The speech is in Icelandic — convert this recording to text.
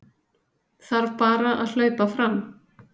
Þarf bara að hlaupa fram